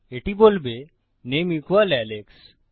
এটি বলবে নামে আলেক্স